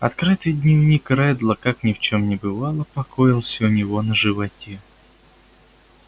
открытый дневник реддла как ни в чем не бывало покоился у него на животе